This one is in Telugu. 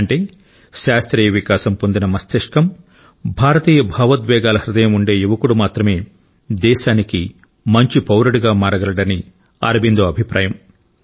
అంటే శాస్త్రీయ వికాసం పొందిన మస్తిష్కం భారతీయ భావోద్వేగాల హృదయం ఉండే యువకుడు మాత్రమే దేశానికి మంచి పౌరుడిగా మారగలడని అరబిందో అభిప్రాయం